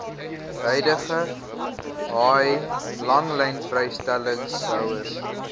huidige haai langlynvrystellingshouers